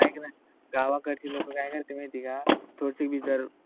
एक न, गावाकडची लोक काय करते माहित आहे का थोडीसी विदर